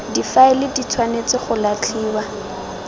difaele di tshwanetse go latlhiwa